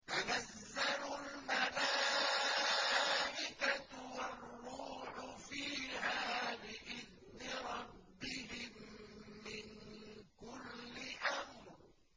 تَنَزَّلُ الْمَلَائِكَةُ وَالرُّوحُ فِيهَا بِإِذْنِ رَبِّهِم مِّن كُلِّ أَمْرٍ